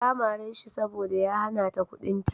Ta mare shi saboda ya hana ta kuɗinta.